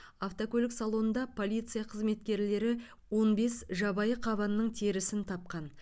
автокөлік салонында полиция қызметкерлері он бес жабайы қабанның терісін тапқан